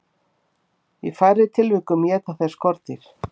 Í færri tilvikum éta þeir skordýr.